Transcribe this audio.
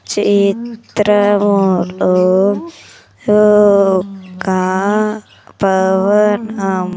చేత్రము లో ఓక్క పవనం.